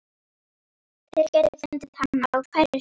Þeir gætu fundið hana á hverri stundu.